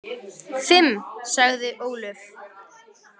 Fimm, sagði Ólöf.